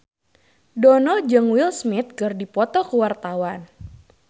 Dono jeung Will Smith keur dipoto ku wartawan